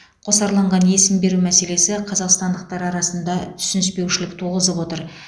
қосарланған есім беру мәселесі қазақстандықтар арасында түсініспеушілік туғызып отыр